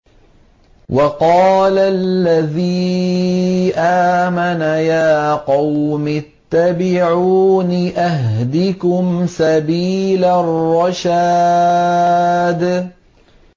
وَقَالَ الَّذِي آمَنَ يَا قَوْمِ اتَّبِعُونِ أَهْدِكُمْ سَبِيلَ الرَّشَادِ